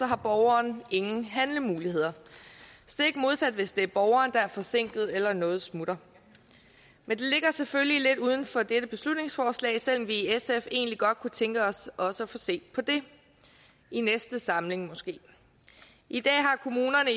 har borgeren ingen handlemuligheder stik modsat af hvis det er borgeren der er forsinket eller noget smutter men det ligger selvfølgelig lidt uden for dette beslutningsforslag selv om vi i sf egentlig godt kunne tænke os også at få set på det i næste samling måske i dag har kommunerne